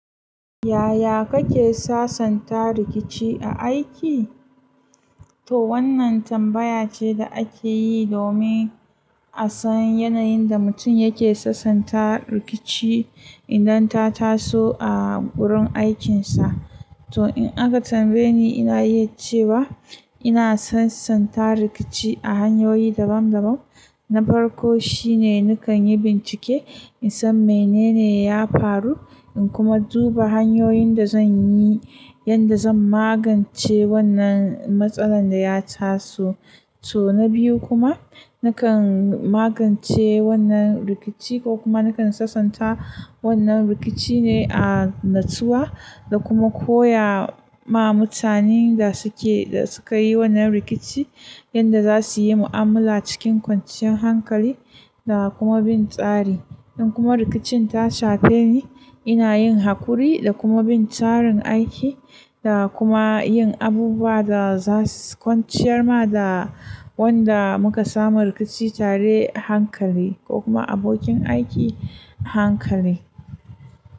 Yaya kake sasanta rikici a aiki? To wannan tambaya ce da ake yi domin a san yanayin da mutum yake sasanta rikici idan ta taso a gurin aikinsa. To in aka tambaye ni, ina iya ce wa ina sasanta rikici a hanyoyi dabam dabam. Na farko shine nakan yi bincike in san menene ya faru, in kuma duba hanyoyin da zan yi yadda zan magance wannan matsalar da ya taso. To na biyu kuma nakan magance wannan rikici ko kuma nakan sasanta wannan rikici ne a natsuwa da kuma koya ma mutanen da suke, da sukayi wannan rikici yadda za su yi mu'amala cikin kwanciyar hankali da kuma bin tsari. In kuma rikicin ta shafe ni, ina yin hakuri da kuma bin tsarin aiki da kuma yin abubuwa da zasuyi kwanciyar ma da wanda muka samu rikici tare hankali ko kuma abokin aiki hankali.